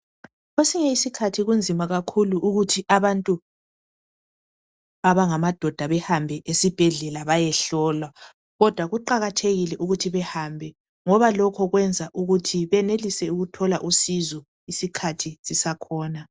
kwesinye isikhathi kunzima kakhulu ukuthi abantu abangamadoda behambe esibhedlela bayehlolwa kodwa kuqakathekile ukuthi behambe ngoba lokho kwenza ukuthi benelise ukuthola usizo isikhathisisakhona